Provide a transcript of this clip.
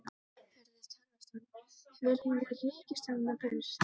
Hörður Torfason: Viljum við ríkisstjórnina burt?